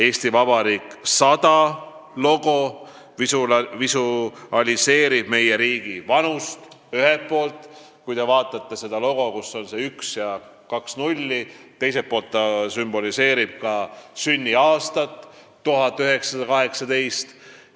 "Eesti Vabariik 100" logo visualiseerib ühelt pool meie riigi vanust – sellel on number üks ja kaks nulli –, teiselt poolt aga vabariigi sünniaastat 1918.